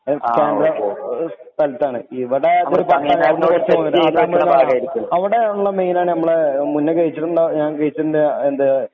സ്ഥലത്താണ് അവിടെ അവിടെ ഉള്ള മെയിൻ ആണ് മുന്നേ കഴിച്ചിട്ടുള്ള